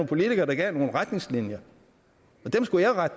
politikere der gav nogle retningslinjer